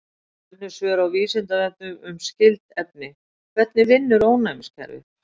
Önnur svör á Vísindavefnum um skyld efni: Hvernig vinnur ónæmiskerfið?